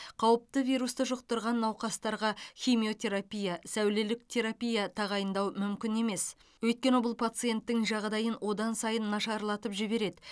қауіпті вирусты жұқтырған науқастарға химиотерапия сәулелік терапия тағайындау мүмкін емес өйткені бұл пациенттің жағдайын одан сайын нашарлатып жібереді